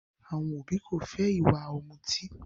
Àwọn òbí ko fẹ ìwà ọ̀mùtí.